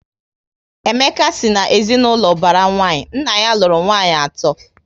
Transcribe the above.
Emeka si na ezinaụlọ ubara nwanyi, nna ya lụrụ nwanyị ato